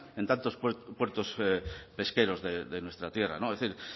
en tantos puertos pesqueros de nuestra tierra es decir